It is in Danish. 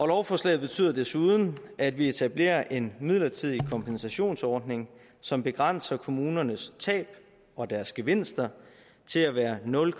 lovforslaget betyder desuden at vi etablerer en midlertidig kompensationsordning som begrænser kommunernes tab og deres gevinster til at være nul